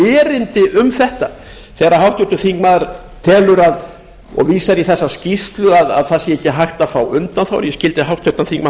erindi um þetta þegar háttvirtur þingmaður telur og vísar í þessa skýrslu að það sé ekki hægt að fá undanþágur ég skildi háttvirtan þingmann